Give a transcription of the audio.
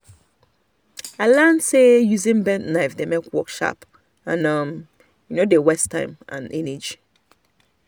i learn say using bent knife dey make work sharp and um no dey waste energy. um